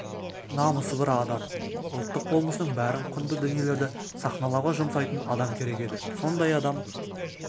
намысы бар адам ұлттық болмысының бәрін құнды дүниелерді сахналауға жұмсайтын адам керек еді сондай адам